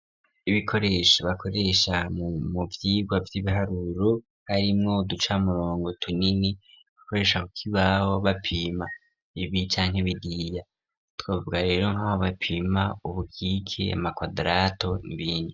Ibikoresha bakoresha mu muvyigwa vy'ibiharuro, harimwo duca murongo, tunini bikoresha kuk'ibaho bapima ibi canke biriya, twavuga rero nkabo bapima ubukike, amakwadrato n'ibindi.